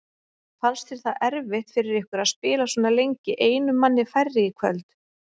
Fannst þér það erfitt fyrir ykkur að spila svona lengi einum manni færri í kvöld?